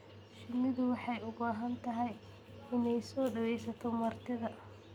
Shinnidu waxay u baahan tahay inay soo dhawayso martida.